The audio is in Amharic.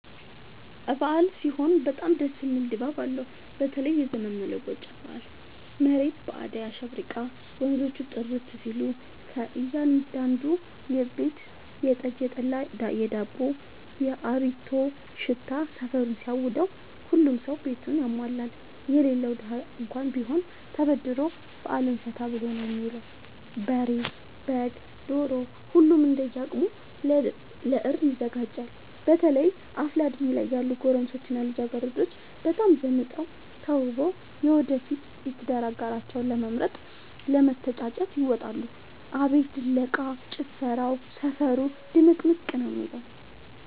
አበዓል ሲሆን በጣም ደስ የሚል ድባብ አለው በተለይም የዘመን መለወጫ በአል መሬት በአዳይ አሸብርቃ ወንዞቹ ጥርት ሲሉ ከእያዳዱ ቤት የጠጅ፣ የጠላ የዳቦው።፣ የአሪቲው ሽታ ሰፈሩን ሲያውደው። ሁሉም ሰው ቤቱን ያሟላል የሌለው ደሀ እንኳን ቢሆን ተበድሮ በአልን ፈታ ብሎ ነው የሚውለው። በሬ፣ በግ፣ ዶሮ ሁሉም እንደየ አቅሙ ለእርድ ያዘጋጃል። በተለይ አፍላ እድሜ ላይ ያሉ ጎረምሶች እና ልጃገረዶች በጣም ዘንጠው ተውበው የወደፊት የትዳር አጋራቸውን ለመምረጥ ለመተጫጨት ይወጣሉ። አቤት ድለቃ፣ ጭፈራው ሰፈሩ ድምቅምቅ ነው የሚለው።